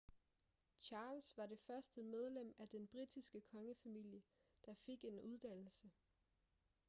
charles var det første medlem af den britiske kongefamilie der fik en uddannelse